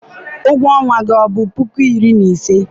ụgwọ ọnwa gị ọ bụ puku iri na ise?